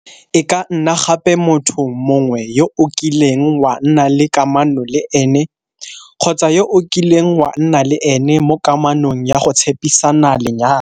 E ka nna gape motho mongwe yo o kileng wa nna le kamano le ene kgotsa yo o kileng wa nna le ene mo kamanong ya go tshepisana lenyalo.